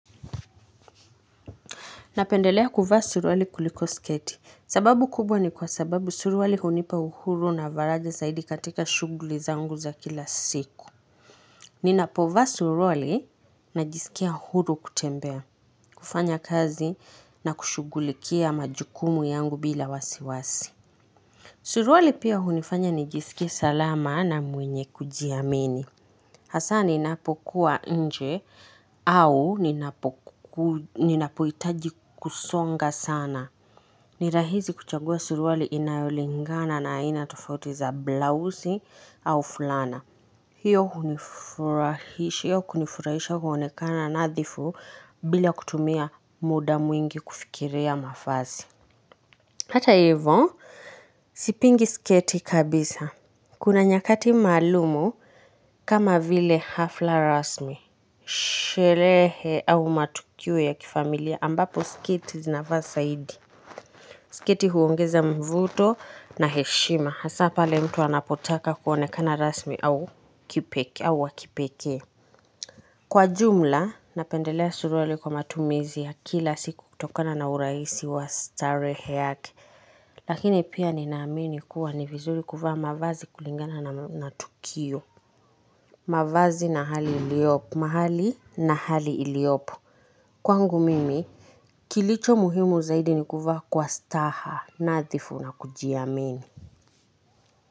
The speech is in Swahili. Napendelea kuvaa suruali kuliko sketi. Sababu kubwa ni kwa sababu suruali hunipa uhuru na faraja zaidi katika shughuli zangu za kila siku. Ninapovaa suruali najisikia uhuru kutembea, kufanya kazi na kushughulikia majukumu yangu bila wasiwasi. Suruali pia hunifanya nijisikie salama na mwenye kujiamini. Hasa ninapokuwa nje au ninapohitaji kusonga sana. Ni rahisi kuchagua suruali inayolingana na aina tofauti za blausi au fulana. Hiyo hunifurahisha hiyo kunifutaisha huonekana nadhifu bila kutumia muda mwingi kufikiria mavazi. Hata hivyo, sipingi sketi kabisa. Kuna nyakati maalumu kama vile hafla rasmi sherehe au matukio ya kifamilia ambapo sketi zinafaa zaidi. Sketi huongeza mvuto na heshima hasa pale mtu anapotaka kuonekana rasmi au wa kipekee. Kwa jumla napendelea suruali kwa matumizi ya kila siku kutokana na urahisi wa starehe yake. Lakini pia ninaamini kuwa ni vizuri kuvaa mavazi kulingana na tukio. Mavazi na hali iliopo. Mahali na hali iliopo. Kwangu mimi, kilicho muhimu zaidi ni kuvaa kwa staha nadhifu na kujiamini.